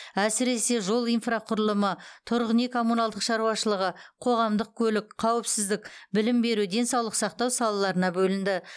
әсіресе жол инфрақұрылымы тұрғын үй коммуналдық шаруашылығы қоғамдық көлік қауіпсіздік білім беру денсаулық сақтау салаларына бөлінді